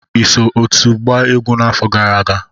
Ị so otu a gbaa egwu n'afọ gara aga?